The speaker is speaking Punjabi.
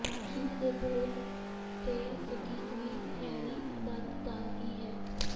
ਗੀਤ ਦੇ ਬੋਲ ਤੇ ਸੰਗੀਤ ਵੀ ਹੈਰੀ ਆਨੰਦ ਦਾ ਹੀ ਹੈ